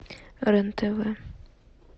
рен тв